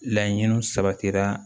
Laɲiniw sabatira